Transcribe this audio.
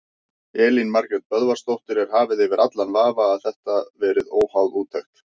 Elín Margrét Böðvarsdóttir: Er hafið yfir allan vafa að þetta verið óháð úttekt?